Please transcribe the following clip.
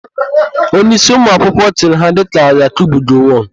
Onyeísí ụmụakwụkwọ chịrị ha dịka Yakubu Gowọn.